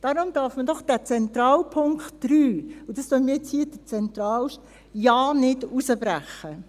Darum darf man diesen zentralen Punkt 3 – das dünkt mich hier der zentralste – ja nicht herausbrechen.